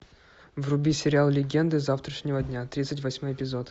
вруби сериал легенды завтрашнего дня тридцать восьмой эпизод